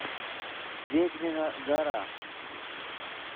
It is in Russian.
ведьмина гора